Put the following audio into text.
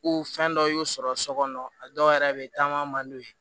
fɛn dɔ y'u sɔrɔ so kɔnɔ a dɔw yɛrɛ bɛ yen taama man d'u ye